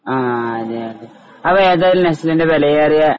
ആഹ് അതെ അതെ അത്